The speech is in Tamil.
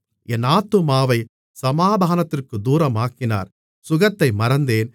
என் ஆத்துமாவைச் சமாதானத்திற்குத் தூரமாக்கினார் சுகத்தை மறந்தேன்